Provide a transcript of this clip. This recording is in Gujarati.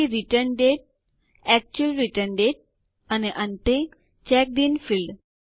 પછી return date actual return date અને અંતે ચેક્ડ ઇન ફીલ્ડ